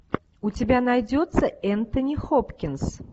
у тебя найдется энтони хопкинс